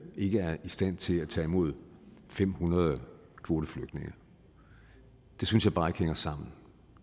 ikke er i stand til at tage imod fem hundrede kvoteflygtninge det synes jeg bare ikke hænger sammen